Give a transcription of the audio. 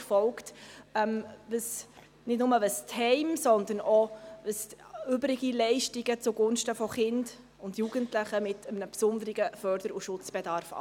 Das betrifft nicht nur die Heime, sondern auch die übrigen Leistungen zugunsten von Kindern und Jugendlichen mit einem besonderen Förder- und Schutzbedarf.